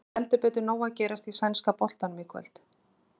Það er heldur betur nóg að gera í sænska boltanum í kvöld.